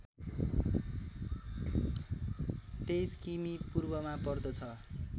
२३ किमि पूर्वमा पर्दछ